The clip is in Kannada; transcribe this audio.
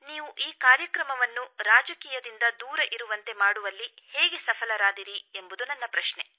ನೀವು ಈ ಕಾರ್ಯಕ್ರಮವನ್ನು ರಾಜಕೀಯದಿಂದ ದೂರ ಇರುವಂತೆ ಮಾಡುವಲ್ಲಿ ಹೇಗೆ ಸಫಲರಾದಿರಿ ಎಂಬುದು ನನ್ನ ಪ್ರಶ್ನೆ